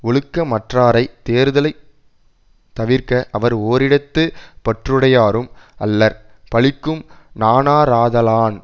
ஒழுக்கமற்றாரை தேறுதலைத் தவிர்க அவர் ஓரிடத்து பற்றுடையாரும் அல்லர் பழிக்கும் நாணாராதலான்